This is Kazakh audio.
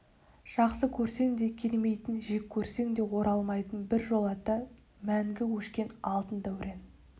жақсы көрсең де келмейтін жек көрсең де оралмайтын біржолата мәңгі өшкен алтын дәурен